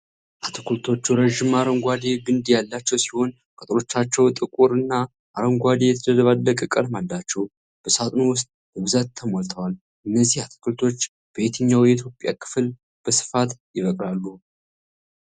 አትክልቶቹ ረዥም አረንጓዴ ግንድ ያላቸው ሲሆን፣ ቅጠሎቻቸው ጥቁር እና አረንጓዴ የተደባለቀ ቀለም አላቸው። በሳጥኑ ውስጥ በብዛት ተሞልተዋል። እነዚህ አትክልቶች በየትኛው የኢትዮጵያ ክፍል በስፋት ይበቅላሉ?